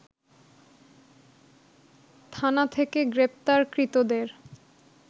থানা থেকে গ্রেপ্তারকৃতদের